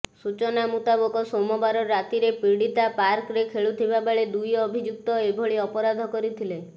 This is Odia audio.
ସୂଚନା ମୁତାବକ ସୋମବାର ରାତିରେ ପୀଡ଼ିତା ପାର୍କରେ ଖେଳୁଥିବା ବେଳେ ଦୁଇ ଅଭିଯୁକ୍ତ ଏଭଳି ଅପରାଧ କରିଥିଲେ